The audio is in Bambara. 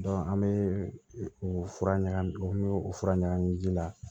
an bɛ u fura ɲagami u bɛ o fura ɲagami ji la